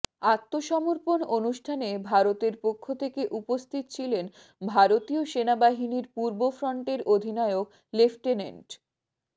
আত্মসমর্পণ অনুষ্ঠানে ভারতের পক্ষ থেকে উপস্থিত ছিলেন ভারতীয় সেনাবাহিনীর পূর্ব ফ্রন্টের অধিনায়ক লেফটেন্যান্ট